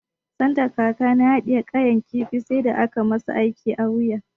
Sanda kakana ya haɗiye ƙayar kifi sai da aka masa aiki a wuya.